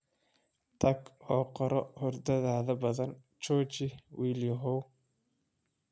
Tag oo qoroo hurdada badan jooji, wiilyahow